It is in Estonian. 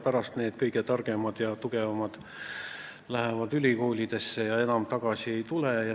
Pärast lähevad need kõige targemad ja tugevamad ülikoolidesse ja enam tagasi ei tule.